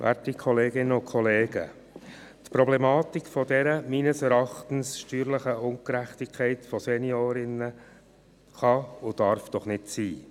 Werte Kolleginnen und Kollegen, die Problematik dieser meines Erachtens steuerlichen Ungerechtigkeit von Seniorinnen kann und darf nicht sein.